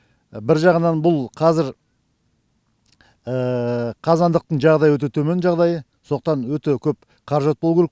бір жағынан бұл қазір қазандықтың жағдайы өте төмен сондықтан өте көп қаражат болу керек